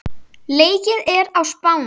Leikið er á Spáni.